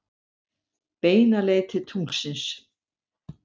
Beina leið til tunglsins.